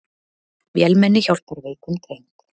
Vélmenni hjálpar veikum dreng